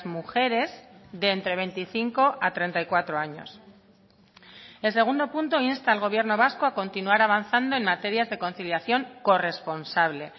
mujeres de entre veinticinco a treinta y cuatro años el segundo punto insta al gobierno vasco a continuar avanzando en materias de conciliación corresponsable